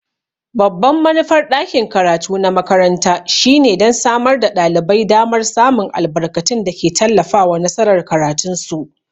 Babban manufar ɗakin karatu na makaranta shine don samar da ɗalibai damar samun albarkatun da ke tallafawa nasarar karatunsu.